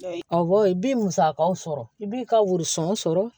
Awɔ i b'i musakaw sɔrɔ i b'i ka wurɔ sɔrɔ